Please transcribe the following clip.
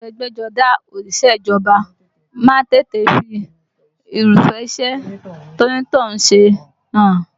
Aṣọ ẹgbẹ́jọdá òṣìṣẹ́ ìjọba má ń tètè fi Irúfẹ́ iṣẹ́ tí onítọ̀hún ń ṣe hàn